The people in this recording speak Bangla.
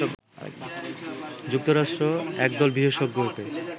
যুক্তরাষ্ট্র একদল বিশেষজ্ঞকে